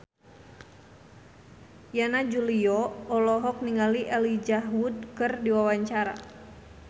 Yana Julio olohok ningali Elijah Wood keur diwawancara